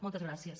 moltes gràcies